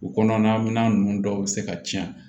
U kɔnɔna minan ninnu dɔw bɛ se ka tiɲɛ